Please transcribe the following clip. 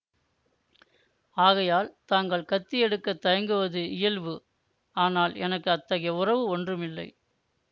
ஆகையால் தாங்கள் கத்தி எடுக்க தயங்குவது இயல்பு ஆனால் எனக்கு அத்தகைய உறவு ஒன்றுமில்லை